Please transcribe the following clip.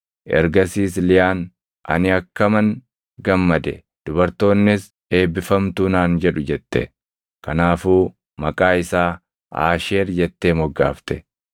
Ergasiis Liyaan, “Ani akkaman gammade! Dubartoonnis, ‘Eebbifamtuu’ naan jedhu” jette. Kanaafuu maqaa isaa Aasheer jettee moggaafte.